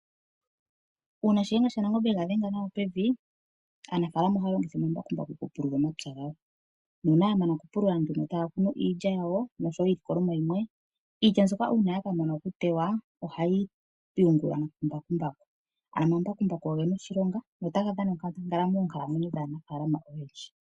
Uuna Shiyenga shaNangombe yega dhenga nawa pevi, aanafaalama ohaya longitha omambakumbaku okupulula omapya gawo nuuna ya mana okupulula taya kunu iilya yawo noshowo iilikolomwa yimwe. Iilya mbyoka uuna yaka mana okutewa ohayi yungulwa kumbakumbaku, ano mbakumbaku oye ena oshilonga notaga dhana onkandangala moonkalamwenyo dhaanafaalama oyendji.